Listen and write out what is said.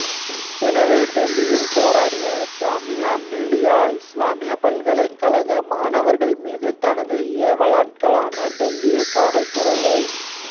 எனவே டெல்லியில் போராடிய ஜாமியா மிலியா இசுலாமிய பல்கலைக் கழக மாணவர்கள் மீது தனது ஏவலாட்களான டெல்லி காவல்துறையை